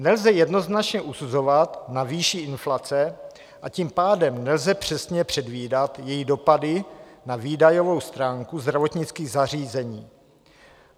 Nelze jednoznačně usuzovat na výši inflace, a tím pádem nelze přesně předvídat její dopady na výdajovou stránku zdravotnických zařízení.